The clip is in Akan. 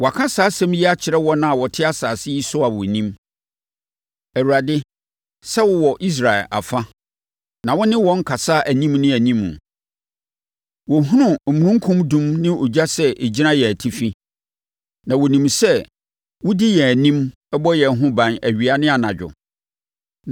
Wɔaka saa asɛm yi akyerɛ wɔn a wɔte asase yi so a wɔnim, Awurade, sɛ wowɔ Israel afa, na wo ne wɔn kasa anim ne anim. Wɔhunu omununkum dum ne ogya sɛ ɛgyina yɛn atifi, na wɔnim sɛ wodi yɛn anim bɔ yɛn ho ban awia ne anadwo.